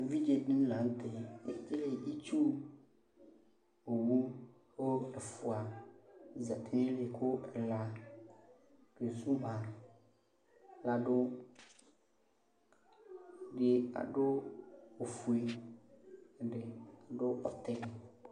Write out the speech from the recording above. Evidzedɩnɩ la nʋtɛ ekele itsu owu , kʋ ɛfʋa zati n'ayili kʋ ɛla kezu ma ladʋ Ɛdɩ adʋ ofue , ɛdɩ adʋ bɛtɛ